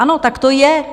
Ano, tak to je.